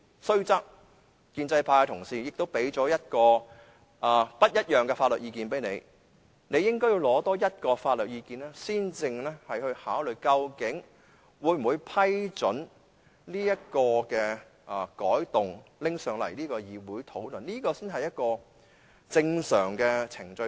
雖然建制派同事已給你不同的法律意見，但你應該多取得另一個法律意見，才考慮會否批准這項修訂建議提交至立法會會議討論，這才是正常程序。